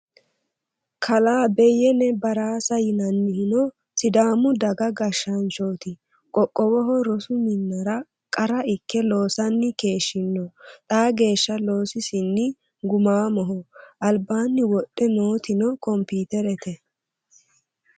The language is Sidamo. Kalaa Beyene Baraasa yinanniho sidaamu daga gashshaanchoti qoqqowoho rosu minira qara ikke loosani keeshshino xaa geeshsha loosisini gumamoho albaani wodhe nootino komputerete.